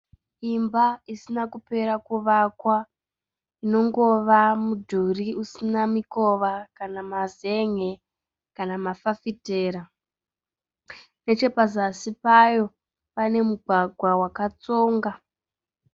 Imba isina kupera kuvakwa. Inongova mudhuri usina mikova kana mazen'e kana mafafitera. Nechepazasi payo pane mugwagwa wakatsonga.